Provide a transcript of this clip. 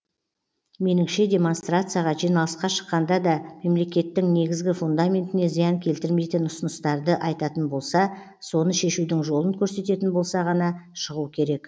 меніңше демонстарцияға жиналысқа шыққанда да мемлекеттің негізгі фундаментіне зиян келтірмейтін ұсыныстарды айтатын болса соны шешудің жолын көрсететін болса ғана шығу керек